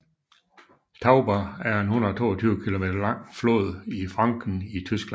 Tauber er en 122 km lang flod i Franken i Tyskland